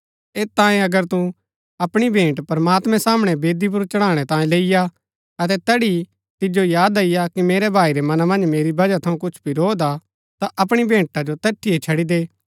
ऐत तांयें अगर तू अपणी भेंट प्रमात्मैं सामणै वेदी पुर चढ़ाणै तांयें लैईआ अतै तैड़ी तिजो याद अईआ कि मेरै भाई रै मना मन्ज मेरी वजह थऊँ कुछ वरोध हा ता अपणी भेंटा जो तैठी ही छड़ी दे